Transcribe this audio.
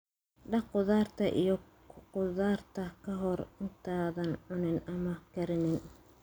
Dhaq khudaarta iyo khudaarta ka hor intaadan cunin ama karinin.